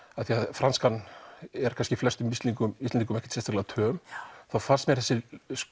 franskan er fæstum Íslendingum Íslendingum töm fannst mér þessi